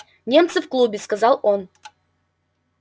немцы в клубе сказал он